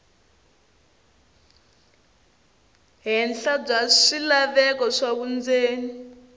henhla bya swilaveko swa vundzeni